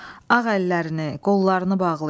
Ağ əllərini, qollarını bağlayın.